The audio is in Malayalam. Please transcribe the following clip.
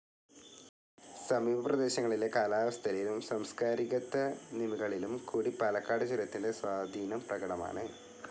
സമീപപ്രദേശങ്ങളിലെ കാലാവസ്ഥയിലും സാംസ്ക്കാരികത്തനിമകളിലും കൂടി പാലക്കാട് ചുരത്തിന്റെ സ്വാധീനം പ്രകടമാണ്.